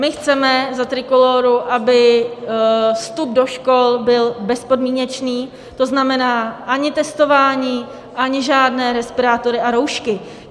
My chceme za Trikolóru, aby vstup do škol byl bezpodmínečný, to znamená ani testování, ani žádné respirátory a roušky.